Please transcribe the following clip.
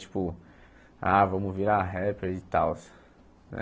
Tipo, ah, vamos virar rapper e tals.